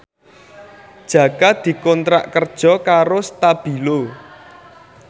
Jaka dikontrak kerja karo Stabilo